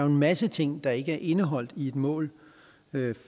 en masse ting der ikke er indeholdt i et mål